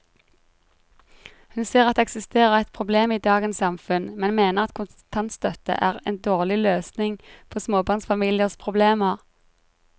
Hun ser at det eksisterer et problem i dagens samfunn, men mener at kontantstøtte er en dårlig løsning på småbarnsfamiliers problemer.